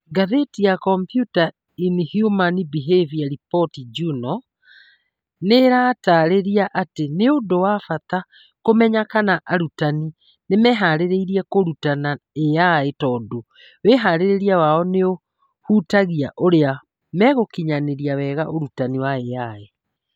Ngathĩti ya Computers in Human Behavior Reports Journal, nĩĩratarĩria atĩ nĩ ũndũ wa bata kũmenya kana arutani nĩ mehaarĩirie kũrutana AI tondũ wĩhaarĩria wao nĩ ũhutagia ũrĩa megũkinyanĩria wega ũrutani wa AI.